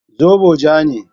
Zobo ja ne.